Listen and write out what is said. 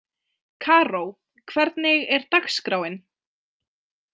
Karó, hvernig er dagskráin?